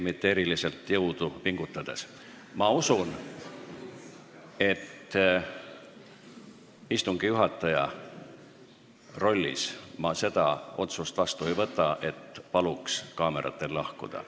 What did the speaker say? Ma arvan, et ma istungi juhataja rollis ei võta vastu seda otsust, et palun kaameratel lahkuda.